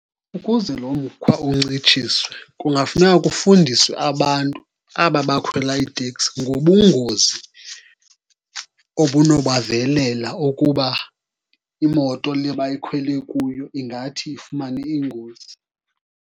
Ukuze lo mkhwa uncitshiswe kungafuneka kufundiswe abantu aba bakhwela iiteksi ngobungozi obunobavelela ukuba imoto le bayikhwele kuyo ingathi ifumane ingozi.